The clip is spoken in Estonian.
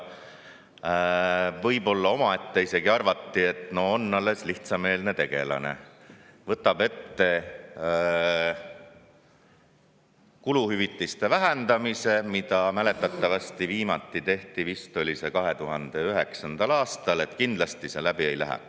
Omaette võib-olla isegi arvati, et no on alles lihtsameelne tegelane, võtab ette kuluhüvitiste vähendamise, mida mäletatavasti viimati tehti vist 2009. aastal, kindlasti see läbi ei lähe.